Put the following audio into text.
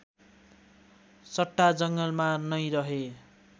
सट्टा जङ्गलमा नै रहे